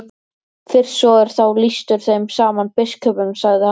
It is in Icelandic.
Fyrst svo er þá lýstur þeim saman biskupunum, sagði hann.